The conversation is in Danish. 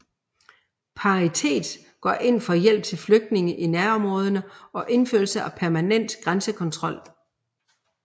Paritet går ind for hjælp til flygtninge i nærområderne og indførelse af permanent grænsekontrol